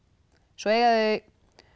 svo eiga